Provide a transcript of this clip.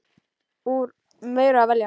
Úr meiru að velja!